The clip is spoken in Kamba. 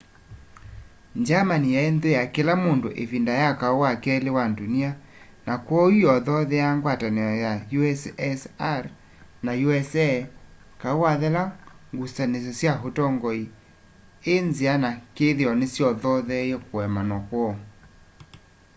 germany yai nthu ya kila mundu ivinda ya kau wa keli wa ndunia na kwoou yothoothea ngwatanio ya ussr na usa kau wethela ngusanisya sya utongoi i nzia na kithio nisyothotheeie kuemanwa kwoo